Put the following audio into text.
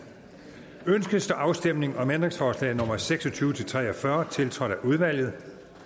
ønskes afstemning om ændringsforslag nummer seks og tyve til tre og fyrre tiltrådt af udvalget